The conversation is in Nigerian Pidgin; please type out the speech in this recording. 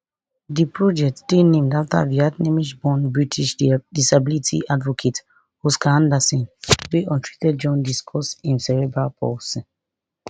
di project dey named after vietnameseborn british disability advocate oscar anderson wey untreated jaundice cause im cerebral palsy